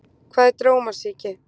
Hvað er drómasýki?